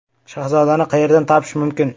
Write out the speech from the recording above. Shahzodani qayerdan topish mumkin?